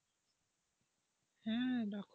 হ্যাঁ,